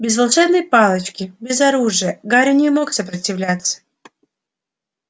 без волшебной палочки без оружия гарри не мог сопротивляться